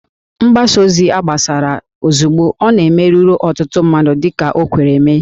Mgbasa ozi a gbasara ozugbo ọ na-eme ruru ọtụtụ mmadụ dị ka o kwere mee